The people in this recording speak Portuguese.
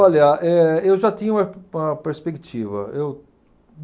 Olha, eh eu já tinha uma pe uma perspectiva, eu